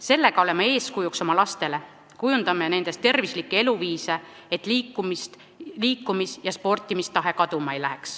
Sellega oleme eeskujuks oma lastele, kujundame nendes tervislikke eluviise, et liikumis- ja sportimistahe kaduma ei läheks.